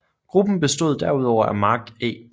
Gruppen bestod derudover af Mark E